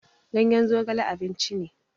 Ganyen zogale abinci ne.